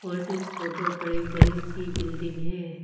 बस इस फोटो पर एक बड़ी सी बिल्डिंग है।